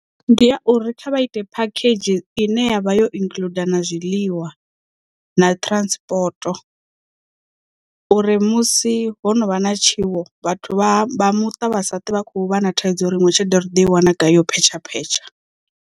Ndi ya uri kha vha ite phakhedzhi ine yavha yo include na zwiḽiwa na transport uri musi ho no vha na tshiwo vhathu vha muṱa vha sa twe vha khou vha na thaidzo ya uri iṅwe tshelede ri ḓo i wana gai yo phetsha phetsha.